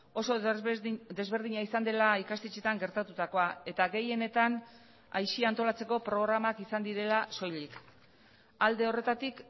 oso desberdina izan dela ikastetxeetan gertatutakoa eta gehienetan aisia antolatzeko programak izan direla soilik alde horretatik